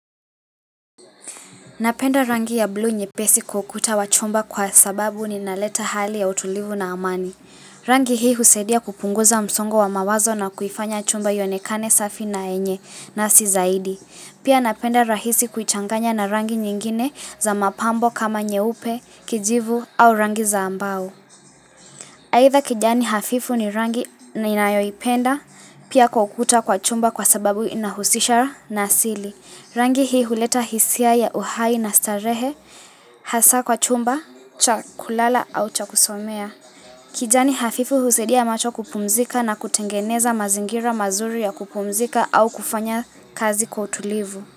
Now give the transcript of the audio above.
Napenda rangi ya blu nyepesi kwa ukuta wa chumba kwa sababu inaleta hali ya utulivu na amani. Rangi hii husaidia kupunguza msongo wa mawazo na kuifanya chumba ionekane safi na yenye nafsi zaidi. Pia napenda rahisi kuichanganya na rangi nyingine za mapambo kama nyeupe, kijivu au rangi za mbao. Aitha kijani hafifu ni rangi ninayoipenda pia kwa ukuta kwa chumba kwa sababu inahusisha nasili. Rangi hii huleta hisia ya uhai na starehe, hasa kwa chumba, cha kulala au cha kusomea. Kijani hafifu husaidia macho kupumzika na kutengeneza mazingira mazuri ya kupumzika au kufanya kazi kwa utulivu.